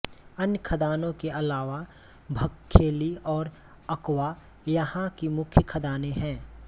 अन्य खदानों के अलावा भरवेली और उक्वा यहाँ की मुख्य खदानें हैं